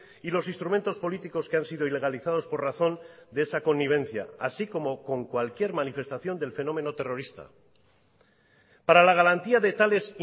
y los instrumentos políticos que han sido ilegalizados por razón de esa connivencia así como con cualquier manifestación del fenómeno terrorista para la garantía de tales